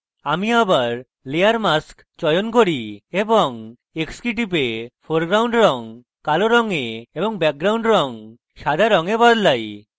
আমি আবার layer mask চয়ন key এবং x key টিপে foreground রঙ কালো রঙে এবং background রঙ সাদা রঙে বদলাই